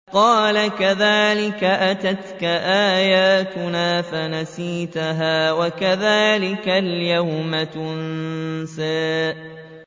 قَالَ كَذَٰلِكَ أَتَتْكَ آيَاتُنَا فَنَسِيتَهَا ۖ وَكَذَٰلِكَ الْيَوْمَ تُنسَىٰ